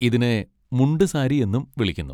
ഇതിനെ മുണ്ട് സാരി എന്നും വിളിക്കുന്നു.